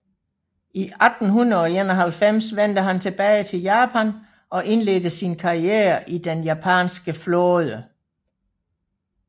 I 1891 vendte han tilbage til Japan og indledte sin karriere i den japanske flåde